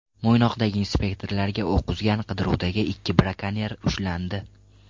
Mo‘ynoqda inspektorlarga o‘q uzgan qidiruvdagi ikki brakonyer ushlandi.